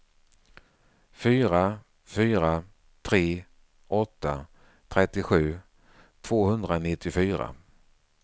fyra fyra tre åtta trettiosju tvåhundranittiofyra